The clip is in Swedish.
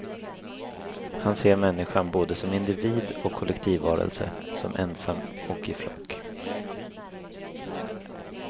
Han ser människan både som individ och kollektivvarelse, som ensam och i flock.